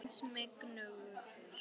Og hans verði einskis megnugur.